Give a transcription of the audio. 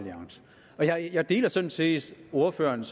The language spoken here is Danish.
er ikke jeg deler sådan set ordførerens